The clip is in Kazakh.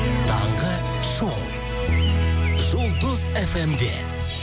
таңғы шоу жұлдыз фм де